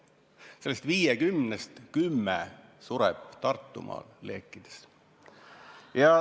Sellest 50-st kümme on leekides surnud Tartumaal.